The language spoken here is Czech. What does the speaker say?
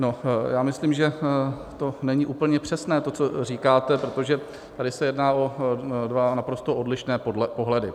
No, já myslím, že to není úplně přesné, to, co říkáte, protože tady se jedná o dva naprosto odlišné pohledy.